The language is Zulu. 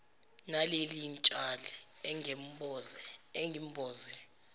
naleli tshali ongemboze